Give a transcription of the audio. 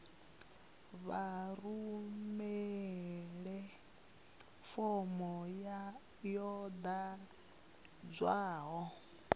vha rumele fomo yo ḓadzwaho